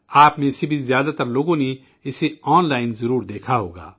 آپ میں سے بھی زیادہ تر لوگوں نے اسے آن لائن ضرور دیکھا ہوگا